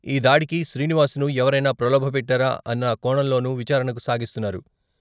ఈ దాడికి శ్రీనివాస్ను ఎవరైనా ప్రలోభపెట్టారా అన్న కోణంలోనూ విచారణ సాగిస్తున్నారు.